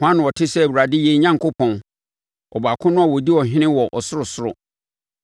Hwan na ɔte sɛ Awurade yɛn Onyankopɔn, Ɔbaako no a ɔdi ɔhene wɔ ɔsorosoro,